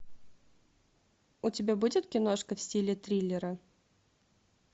у тебя будет киношка в стиле триллера